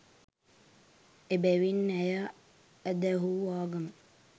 එබැවින් ඇය ඇදහූ ආගම